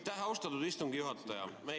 Aitäh, austatud istungi juhataja!